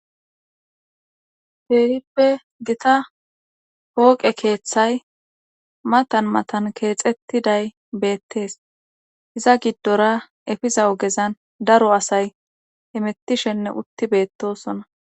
Peehippe gita hooqe keeththay matan matan keexettiday beettees iza giddora efiza ogezan daro asay hemettishenne utti beettosona